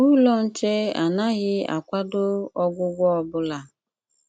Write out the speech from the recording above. Úlọ́ Nché ánághì akwádó ọgwụ́gwọ ọ́ bụ́lá.